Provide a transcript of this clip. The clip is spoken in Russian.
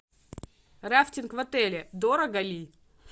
рафтинг в отеле дорого ли